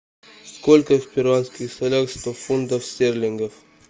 сколько в перуанских солях сто фунтов стерлингов